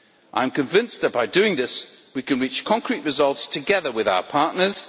I am convinced that by doing this, we can reach concrete results together with our partners.